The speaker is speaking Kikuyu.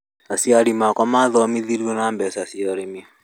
Aciari akwa maathomithirio na mbeca cia ũrĩmi